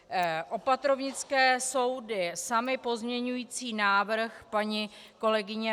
Opatrovnické soudy samy pozměňující návrh paní kolegyně